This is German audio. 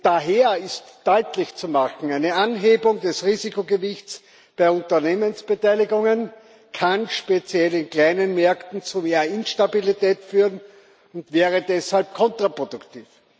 Daher ist deutlich zu machen Eine Anhebung des Risikogewichts bei Unternehmensbeteiligungen kann speziell in kleinen Märkten zu mehr Instabilität führen und wäre deshalb kontraproduktiv.